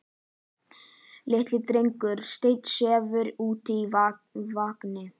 Litli drengurinn steinsefur úti í vagni.